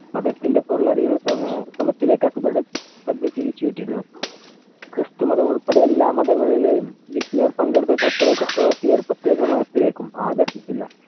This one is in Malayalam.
മതത്തിന്‍റെ പൊരുൾ അറിയുന്ന ശ്രമത്തിലേക്ക് അക്ബറുടെ ശ്രദ്ധ തിരിച്ചു വിട്ടിരുന്നു. ക്രിസ്തുമതം ഉൾപ്പെടെ എല്ലാ മതങ്ങളിലെയും വിജ്ഞയിൽ പങ്കെടുത്ത ചർച്ചയിൽ ചക്രവർത്തിയെ ഒരു പ്രേത്യേക മതത്തിലേക്കും ആകർഷിച്ചില്ല.